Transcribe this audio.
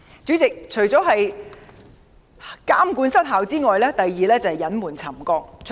主席，除了監管失效外，第二個問題是隱瞞沉降。